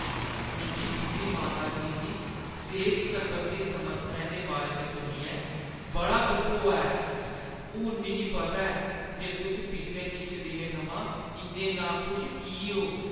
मिगी तुंʼदी माता जी दी सेह्त सरबंधी समस्याएं दे बारे च सुनियै बड़ा दुख होआ ऐ। हून मिगी पता ऐ जे तुस पिछले किश दिनें थमां इन्ने नाखुश की ओ।